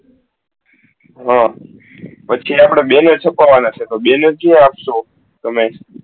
હા પછી આપળે બે કરવાના છો તો બે શું આપસો તમે